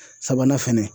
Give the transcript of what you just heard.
Sabanan fɛnɛ